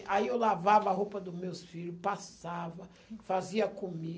Aí eu lavava a roupa dos meus filhos, passava, fazia